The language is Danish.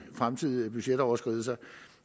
fremtidige budgetoverskridelser